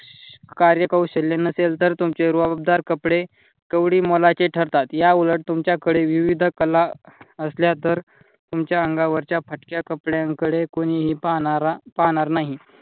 कार्यकौशल्य नसेल तर तुमचे रुबाबदार कपडे कावडी मोलाचे ठरतात. याउलट तुमच्याकडे विविध कला असल्या तर तुमच्या अंगावरच्या फाटक्या कपड्यांकडे कुणी पाहणारा पाहणार नाही.